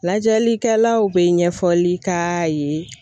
Lajɛlikɛlaw bɛ ɲɛfɔli k'a ye.